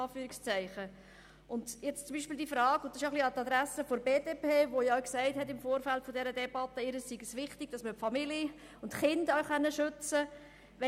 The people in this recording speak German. Nun richte ich mich auch ein wenig an die Adresse der BDP, die ja im Vorfeld dieser Debatte gesagt hat, ihr sei es wichtig, dass man die Familien und Kinder auch schützen könne.